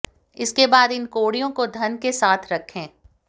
इसके बाद इन कौड़ियों को धन के साथ रखें